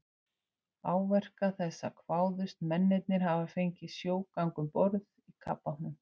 Áverka þessa kváðust mennirnir hafa fengið í sjógangi um borð í kafbátnum.